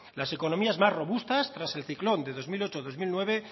las economías más robustas tras el ciclón de dos mil ocho dos mil nueve